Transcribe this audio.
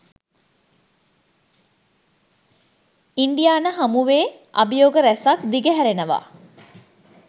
Indiana හමුවේ අභියෝග ‍රැසක් දිග හැරෙනවා.